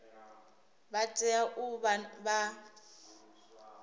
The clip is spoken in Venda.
vha tea u vha vha